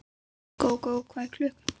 Gógó, hvað er klukkan?